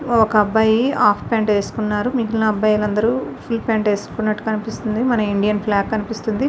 ఒక అబ్బాయి half pant వేసోకోనాడు. మిగిలిని అబ్బాయిలు అందరు ఫుల్ ప్యాంటు వేసుకున్నట్టు కనిపిస్తుంది. మన ఇండియన్ ఫ్లాగ్ కనిపిస్తుంది.